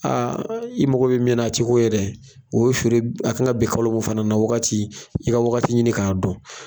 Aa i mago bɛ min na , a tɛ k'o ye dɛ , o feere a kan ka bi kalo min fana na wagati i ka wagati ɲini k'a dɔn.